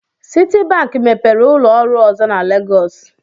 Citibank mepere ụlọ ọrụ ọzọ na Legos.